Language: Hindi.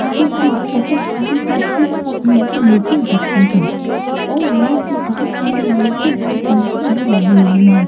यहाँ पे बहुत सारे लोग एक साथ मिलकर मीटिंग करते हैं और यहाँ पे बहुत सारी लाइटें और पंखे भी लगे हुए हैं।